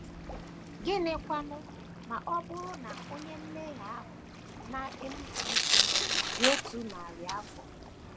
Gịnịkwanụ ma ọ bụrụ na onye mmehie ahụ na - enupụ isi dị otu narị afọ?